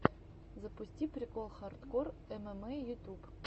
запусти прикол хардкор эмэмэй ютуб